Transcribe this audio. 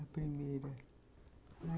A primeira...